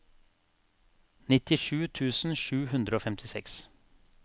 nittisju tusen sju hundre og femtiseks